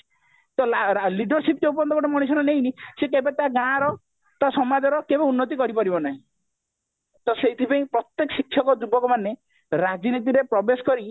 ତ leadership ଯୋଉ ପର୍ଯ୍ୟନ୍ତ ଗୋଟେ ମଣିଷର ନେଇନି ସେ କେବେ ତା ଗାଁର ତା ସମାଜର କେବେ ଉନ୍ନତି କରିପାରିବ ନାହିଁ ତ ସେଇଥିପାଇଁ ପ୍ରତ୍ଯେକ ଶିକ୍ଷିତ ଯୁବକମାନେ ରାଜନୀତି ରେ ପ୍ରବେଶ କରି